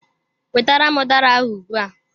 Wetara m udara ahụ ugbua!